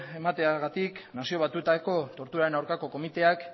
emateagatik nazio batuetako torturaren aurkako komiteak